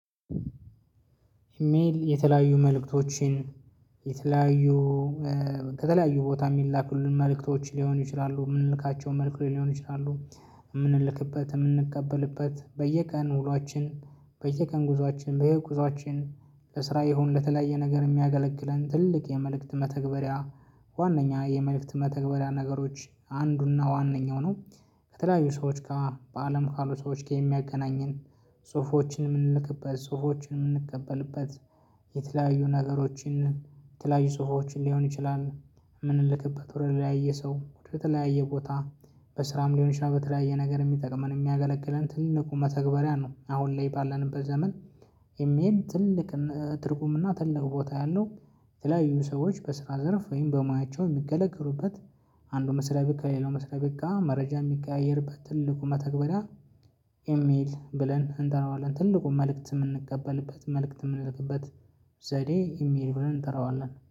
ኢሜል የተለያዩ መልእክቶችን የተለያዩ ከተለያዩ ቦታ የሚላኩልን መልእክቶች ሊሆኑ ይችላሉ የምንልካቸው መልእክቶች ሊሆኑ ይችላሉ የምንልክበት የምንቀበልበት በየቀን ውሏችን በየቀን ጉዞአችን በየጉዞአችን ለስራ ይሁን ለተለያየ ነገር የሚያገለግለን ትልቅ የመልእክት መተግበሪያ ዋናኛ የመልእክት መተግበሪያ ነገሮች አንዱና ዋናኛው ነው። ከተለያዩ ሰዎች ጋር በአለም ካሉ ሰዎች ጋር የሚያገናኘን ጽሁፎችን የምንልክበት ጽሁፎችን የምንቀበልበት። የተለያዩ ነገሮችን የተለያዩ ጽሁፎችን ሊሆን ይችላል የምንልክበት ወደ ተለያየ ሰው ወደ ተለያየ ቦታ። በስራም ሊሆን ይችላል በተለያየ ነገር የሚጠቅመን የሚያገለግለን ትልቁ መተግበሪያ ነው አሁን ላይ ባለንበት ዘመን። ኤሜል ትልቅ ትርጉምና ትልቅ ቦታ ያለው። የተለያዩ ሰዎች በስራ ዘርፍ ወይም በሙያቸው የሚገለግሉበት አንዱ መስሪያ ቤት ከሌላው መስሪያ ቤት መረጃ የሚቀያየርበት ትልቁ መተግበሪያ። ኢሜል ብለን እንጠረዋለን ትልቁ መልእክት የምንቀበልበት መልእክት የምንልክበት። ዘዴ ኢሜል ብለን እንጠራዋለን